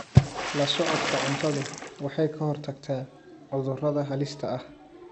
La socodka cuntadu waxay ka hortagtaa cudurrada halista ah.